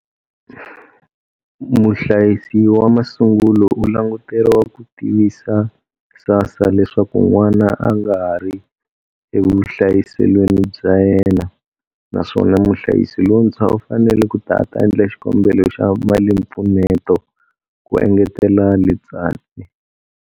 Muhlayisi wa masungulo u languteriwa ku tivisa SASSA leswaku n'wana a nga ha ri evuhlayiselweni bya yena, naswona muhlayisi lontshwa u fanele ku ta a ta endla xikombelo xa malimpfuneto, ku engetela Letsatsi.